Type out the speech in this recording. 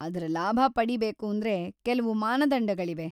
ಅದ್ರ ಲಾಭ ಪಡೀಬೇಕೂಂದ್ರೆ ಕೆಲವು ಮಾನದಂಡಗಳಿವೆ.